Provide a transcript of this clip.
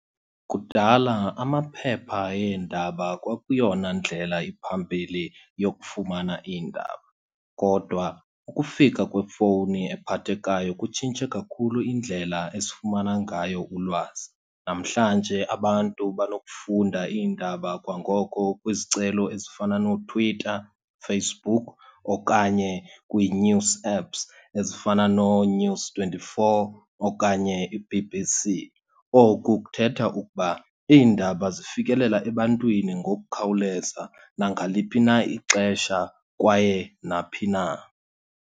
Kudala amaphepha eendaba kwakuyona ndlela iphambili yokufumana iindaba. Kodwa ukufika kwefowuni ephathekayo kutshintshe kakhulu indlela esifumana ngayo ulwazi. Namhlanje abantu banokufunda iindaba kwangoko kwizicelo ezifana nooTwitter, Facebook, okanye kwii-news apps ezifana nooNews twenty-four okanye i-B_B_C. Oku kuthetha ukuba iindaba zifikelela ebantwini ngokukhawuleza, nangaliphi na ixesha kwaye naphi na.